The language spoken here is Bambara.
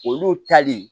Olu tali